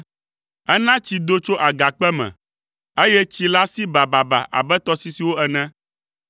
Ena tsi do tso agakpe me eye tsi la si bababa abe tɔsisiwo ene.